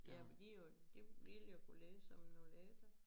Ja for de jo de ville jo kunne ligge som nu lægger